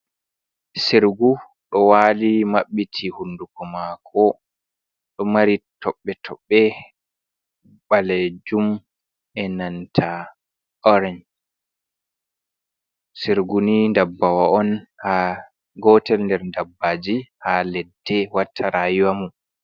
Sirgu ɗo wali mabbiti hunduko mako, ɗo mari toɓɓe toɓɓe balejum e nanta orange, sirgu ni dabbawa'on ha gotel nder dabbaji ha ledde watta rayuwa mum.